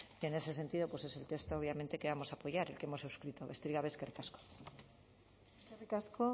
y en ese sentido pues es el texto obviamente que vamos a apoyar el que hemos suscrito besterik gabe eskerrik asko eskerrik asko